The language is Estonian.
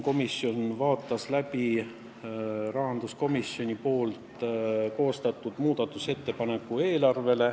Komisjon vaatas siis läbi rahanduskomisjoni koostatud muudatusettepaneku.